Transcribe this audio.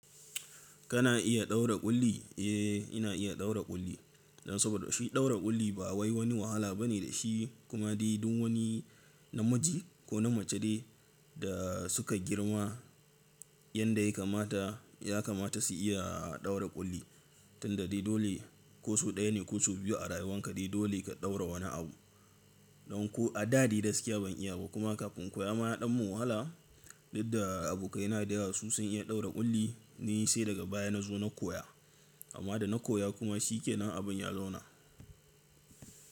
Kana iya ɗaura ƙulli? Eh ina iya ɗaura ƙulli, saboda shi ɗaura ƙulli ba wai wani wahala bane da shi. Kuma dai duk wani namiji ko na mace dai da suka girma yanda ya kamata ya kamata su iya ɗaura ƙulli. Tun da dai dole ko so ɗaya ne ko so biyu a rayuwan ka dai dole ka ɗaura wani abu. Don ko a da dai gaskiya ban iya ba kuma kafin in koya ma ya ɗan mun wahala. Duk da abokaina dayawa su sun iya ɗaura ƙulli na yi sai daga baya na zo na koya amma da na koya kuma shikenan abin ya zauna.